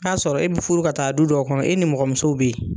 N'a sɔrɔ i bɛ furu ka taa du dɔ kɔnɔ e ni mɔgɔmuso bɛ yen.